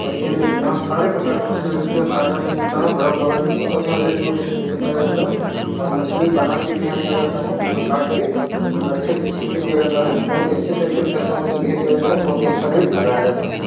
और ये यहाँ सारे प्रकार की मछलियाँ मिलती है। ताजा भी मिलता है बर्फ वाला भी मिलता है और यहाँ रेट भी बहुत अच्छे तरीके से लगाया जाता है और मछली बना के भी यहाँ दिया जाता है मतलब काट के और अच्छे से छील के दिया जाता है। बहुत ही अच्छे तरीके से कस्टमर से बिहेव किया जाता है और बहुत ही अच्छा रेट लगाया जाता है।